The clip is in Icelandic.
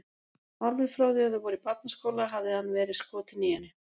Alveg frá því að þau voru í barnaskóla hafði hann verið skotinn í henni.